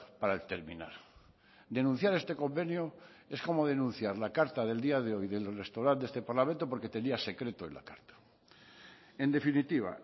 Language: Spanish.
para terminar denunciar este convenio es como denunciar la carta del día de hoy del restaurante de este parlamento porque tenía secreto en la carta en definitiva